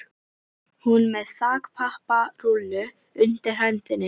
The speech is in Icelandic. Hún er með þakpapparúllu undir hendinni.